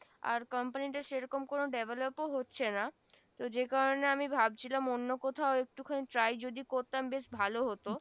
আর company টা সে রকম কোন develop ও হচ্ছে না তো যে কারনে আমি ভাবছিলাম অন্য কোথাও একটু খানি try যদি করতাম বেশ ভালো হত না এতা